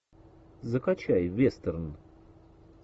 закачай вестерн